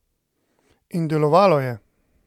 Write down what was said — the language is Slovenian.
In delovalo je!